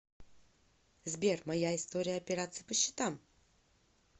сбер моя история операций по счетам